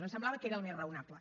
ens semblava que era el més raonable